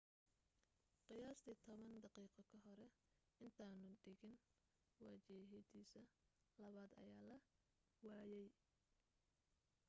qiyaastii toban daqiiqo kahor intaanu dagin wajihidiisa labaad ayaa la waayay